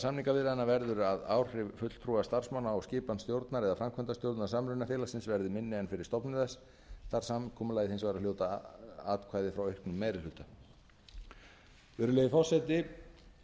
samningaviðræðna verður að áhrif fulltrúa starfsmanna á skipan stjórnar eða framkvæmdastjórnar samrunafélagsins verði minni en fyrir stofnun þess þarf samkomulagið hins vegar að hljóta atkvæði frá auknum meiri hluta virðulegi forseti